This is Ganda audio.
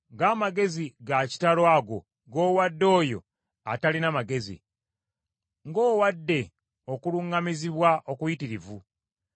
Ng’amagezi ga kitalo ago g’owadde oyo atalina magezi! Ng’owadde okuluŋŋamizibwa okuyitirivu!